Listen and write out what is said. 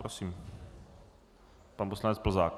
Prosím, pan poslanec Plzák.